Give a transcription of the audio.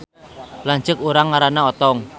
Lanceuk urang ngaranna Otong